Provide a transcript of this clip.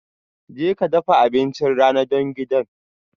Jeka dafa abincin rana don gidan